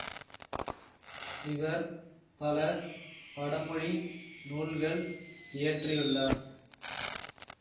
இவர் பல வடமொழி நூல்கள் இயற்றியுள்ளார்